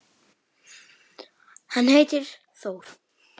Hann heitir Þór.